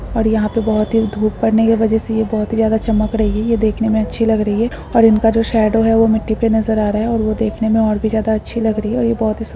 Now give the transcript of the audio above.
और यहाँ पे बहुत ही धुप पड़ने की वजह से ये बहुत ही ज्यादा चमक रही ये देखने मे अच्छी लग रही है और इनका जो शेडो है वो मिट्टी पे नज़र आ रहा और वो देखने मे और भी ज्यादा अच्छी लग रही है और ए बहुत ही --